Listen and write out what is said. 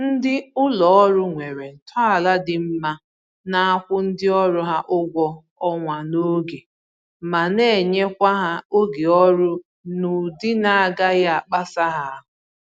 Ndị ụlọ ọrụ nwere ntọala dị mma na-akwụ ndị ọrụ ha ụgwọ ọnwa n'oge ma na-enyekwa ha oge ọrụ n'ụdị na-agaghị akpasị ha ahụ